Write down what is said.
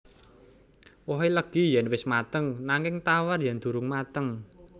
Wohé legi yèn wis mateng nanging tawar yèn durung mateng